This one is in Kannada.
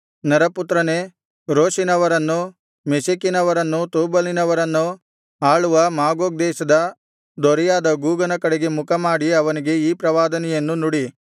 ನರಪುತ್ರನೇ ರೋಷಿನವರನ್ನೂ ಮೆಷೆಕಿನವರನ್ನೂ ತೂಬಲಿನವರನ್ನೂ ಆಳುವ ಮಾಗೋಗ್ ದೇಶದ ದೊರೆಯಾದ ಗೋಗನ ಕಡೆಗೆ ಮುಖಮಾಡಿ ಅವನಿಗೆ ಈ ಪ್ರವಾದನೆಯನ್ನು ನುಡಿ